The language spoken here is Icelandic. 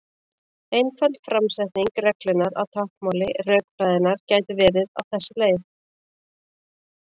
Einföld framsetning reglunnar á táknmáli rökfræðinnar gæti verið á þessa leið: